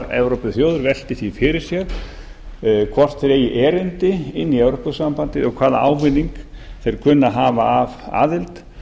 evrópuþjóðir velti því fyrir sér hvort þeir eigi erindi inn í evrópusambandið og hvaða ávinning þeir kunni að hafa af aðild